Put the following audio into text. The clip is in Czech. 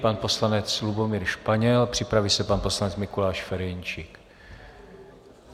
Pan poslanec Lubomír Španěl, připraví se pan poslanec Mikuláš Ferjenčík.